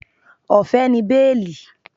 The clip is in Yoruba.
Ọ̀fẹ́ ni béèlì